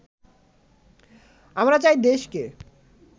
আমরা চাই দেশকে